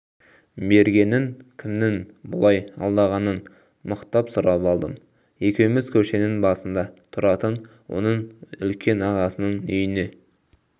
бергенін кімнің бұлай алдағанын мықтап сұрап алдым екеуміз көшенің басында тұратын оның үлкен ағасының үйіне